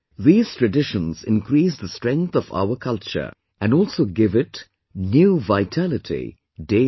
These traditions increase the strength of our culture and also give it new vitality daily